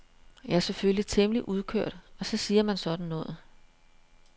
Jeg er selvfølgelig temmelig udkørt og så siger man sådan noget.